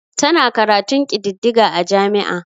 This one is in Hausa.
Tana karatun kididdiga a jami'a.